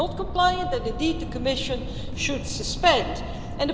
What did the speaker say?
If they are not compliant then, indeed, the Commission should suspend the Privacy Shield.